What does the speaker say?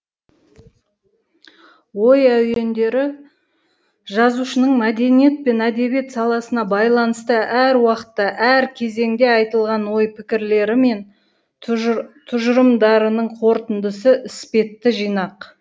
ой әуендері жазушының мәдениет пен әдебиет саласына байланысты әр уақытта әр кезеңде айтылған ой пікірлері мен тұжы тұжырымдарының қорытындысы іспетті жинақ